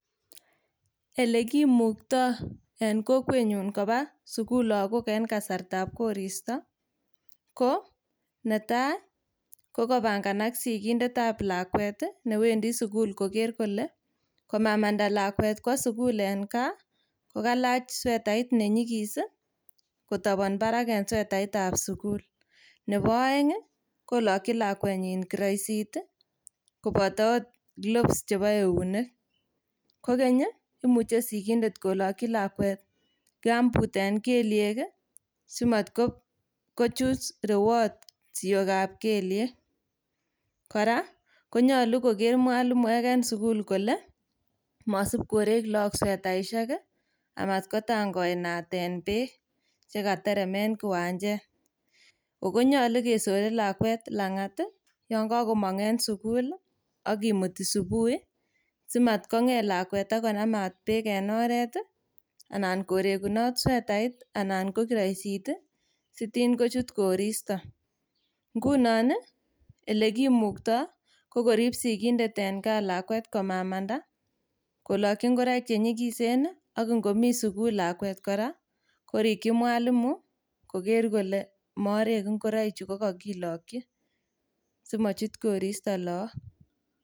Elekimukto en kokwenyun koba sukul logok en kasartab koristo ko netai kokopanganak sigindetab lakwet ii newendi sukul koker kole komamanda lakwet kwo sukul en gaa kokalach swetait nenyigis kotobon barak en swetaitab sukul. Nebo oeng' ii kolokyi lakwenyin kiroisit ii koboto kilofs chebo eunek. Kokeny ii imuche sikindet kolokyi lakwet kamput en keliek ii simokochut rewot siokab keliek. Kora konyolu koker mwalimuek en sukul kole mosip korek logok swetaisiek ii amat kotangoanaten beek chekaterem en kiwanjet. Ogo nyolu kesore lakwet en lang'at yon komong' en sukul ak kimuti subui simakotkong'et lakwet konamat beek en oret anan korekunot swetait anan ko kiroisit ii sitin kochut koristo. Ngunon ii elekimukto ii kokorib sikindet lakwet en gaa amamanda, kolokyi ngoroik chenyigisen ii ak ingomi sukul lakwet kora korikyi mwalimu koker kole morek ngoroik chu kokokilokyi simochut koristo logok.